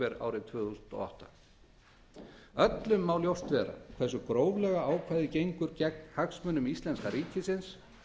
árið tvö þúsund og átta öllum má ljóst vera hversu gróflega ákvæðið gengur gegn hagsmunum íslenska ríkisins